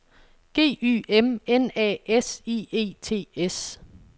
G Y M N A S I E T S